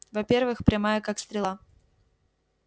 во-первых прямая как стрела